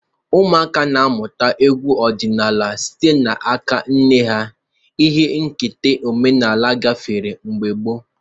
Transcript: Ụmụaka na-amụta egwu ọdịnala site n'aka nne ha, ihe nketa omenala gafere n'ọgbọ.